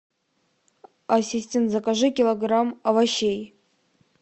ассистент закажи килограмм овощей